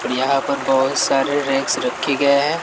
और यहां पर बहोत सारे रैक्स रखे गए है।